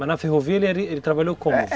Mas na ferrovia ele ele trabalhou como?